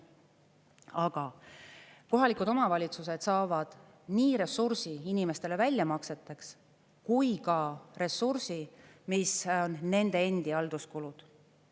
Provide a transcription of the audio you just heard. Aga kohalikud omavalitsused saavad nii ressursi inimestele väljamakseteks kui ka ressursi, mis on nende endi halduskulud.